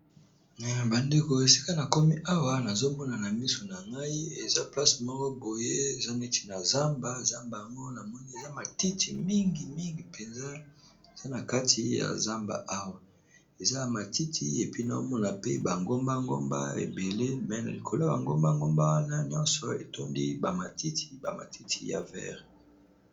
Bandeko esika na komi awa nazomonana miso na ngai eza place moko boye ,eza neti na zamba zamba ango na moni eza matiti mingimingi, mpenza eza na kati ya zamba awa eza a matiti et puis naomona pe bangombangomba ebele, me na likolo y bangombangomba wana nyonso etondi bamatiti bamatiti ya vere.